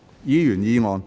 議員議案。